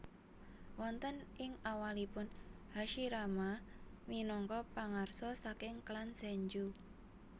Wonten ing awalipun Hashirama minangka pangarsa saking klan Senju